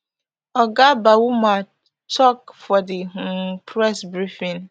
oga bawumia tok for di um press briefing